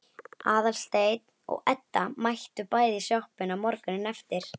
Aðalsteinn og Edda mættu bæði í sjoppuna morguninn eftir.